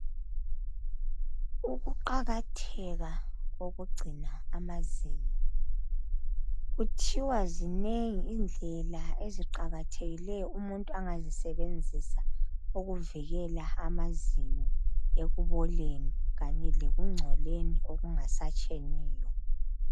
Ukuqakatheka kokugcina amazinyo kuthiwa zinengi indlela eziqakathekileyo ,umuntu angazisebenzisa ukuvikela amazinyo ekuboleni kanye lekungcoleni okungasatsheniyo.